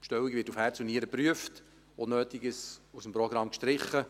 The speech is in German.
Die Bestellung wird auf Herz und Nieren geprüft, Unnötiges aus dem Programm gestrichen.